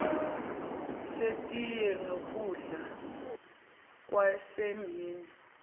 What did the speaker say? setiye nesokudla kwasemini